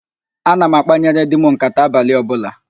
Ana m akpanyere di m nkàtá abalị ọbụla